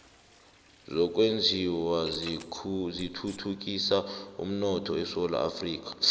zokwenjiwa zithuthukisa umnotho esewula afrika